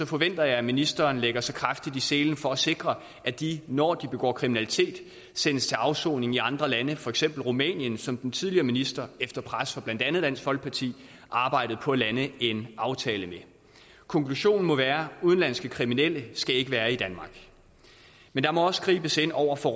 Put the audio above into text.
forventer jeg at ministeren lægger sig kraftigt i selen for at sikre at de når de begår kriminalitet sendes til afsoning i andre lande for eksempel rumænien som den tidligere minister efter pres fra blandt andet dansk folkeparti arbejdede på at lande en aftale med konklusionen må være at udenlandske kriminelle ikke skal være i danmark men der må også gribes ind over for